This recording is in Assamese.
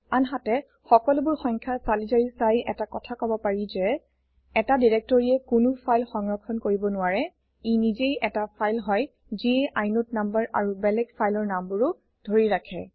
আনহাতে সকলোবোৰ সংখ্যা চালি জাৰি চাই এটা কথা কব পাৰি যে এটা দিৰেক্তৰিয়ে কোনো ফাইল সংৰক্ষণ কৰিব নোৱাৰে ই নিজেই এটা ফাইল হয় যিয়ে ইনদে নাম্বাৰ আৰু বেলেগ ফাইলৰ নামবোৰো ধৰি ৰাখে